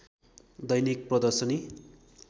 दैनिक प्रदर्शनी